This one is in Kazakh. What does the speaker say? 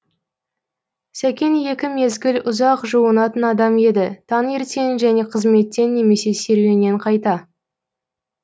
сәкен екі мезгіл ұзақ жуынатын адам еді таңертең және қызметтен немесе серуеннен қайта